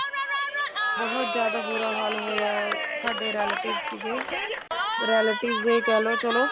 ਬਹੁਤ ਜਿਆਦਾ ਬੁਰਾ ਹਾਲ ਹੋਇਆ ਸਾਡੇ relatives ਸੀਗੇ relatives ਵੀ ਕਹਿ ਲੋ ਚਲੋ